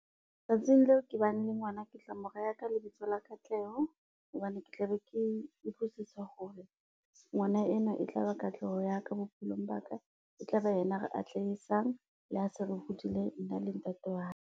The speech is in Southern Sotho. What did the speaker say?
Tsatsing leo ke bang le ngwana, ke tla mo reha ka lebitso la Katleho hobane ke tla be ke utlwisisa hore ngwana enwa e tlaba katleho ya ka bophelong ba ka. E tlaba yena a re atlehisang, le hase re hodile nna le ntate wa hae.